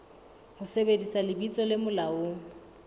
ho sebedisa lebitso le molaong